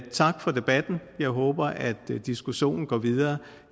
tak for debatten jeg håber at diskussionen går videre